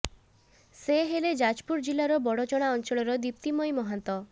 ସେ ହେଲେ ଯାଜପୁର ଜିଲ୍ଲାର ବଡ଼ଚଣା ଅଞ୍ଚଳର ଦୀପ୍ତିମୟୀ ମହାନ୍ତ